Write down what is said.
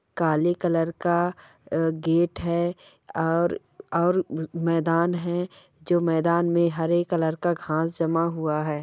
काले कलर का अ गेट है और ओर मेदान है जो मेदान मे हरे कलर का घास जमा हुआ है।